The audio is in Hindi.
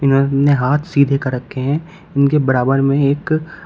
उन्होंने हाथ सीधे कर रखे हैं उनके बराबर में एक--